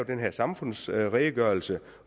den her samfundsredegørelse